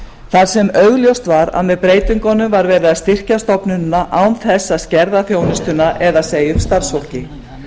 þar sem augljóst var að með breytingunum var verið að styrkja stofnunina án þess að skerða þjónustuna eða segja upp starfsfólki